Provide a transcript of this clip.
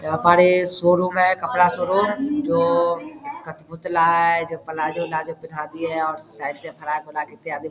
हमारे शोरूम है जो कपड़ा शोरूम जो कटपुतला है प्लाज़ो-उलाजो पहनाती है और साइड में फ्राक उराक इत्यादि --